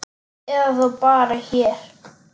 Eða þá bara hér.